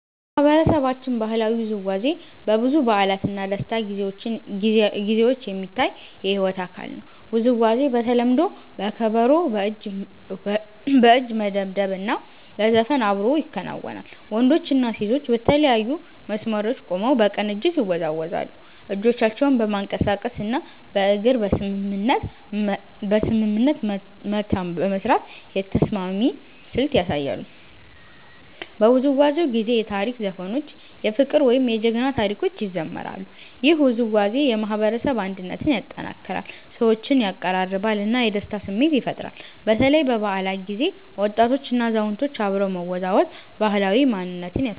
በማህበረሰባችን ባህላዊ ውዝዋዜ በብዙ በዓላት እና ደስታ ጊዜዎች የሚታይ የሕይወት አካል ነው። ውዝዋዜው በተለምዶ በከበሮ፣ በእጅ መደብደብ እና በዘፈን አብሮ ይከናወናል። ወንዶችና ሴቶች በተለያዩ መስመሮች ቆመው በቅንጅት ይወዛወዛሉ፣ እጆቻቸውን በማንቀሳቀስ እና በእግር በስምምነት መታ በመስራት የተስማሚ ስልት ያሳያሉ። በውዝዋዜው ጊዜ የታሪክ ዘፈኖች፣ የፍቅር ወይም የጀግና ታሪኮች ይዘምራሉ። ይህ ውዝዋዜ የማህበረሰብ አንድነትን ያጠናክራል፣ ሰዎችን ያቀራርባል እና የደስታ ስሜት ይፈጥራል። በተለይ በበዓላት ጊዜ ወጣቶችና አዛውንቶች አብረው መወዛወዝ ባህላዊ ማንነትን ያሳያል።